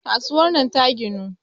kasuwar nan ta ginu